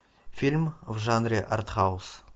фильм в жанре артхаус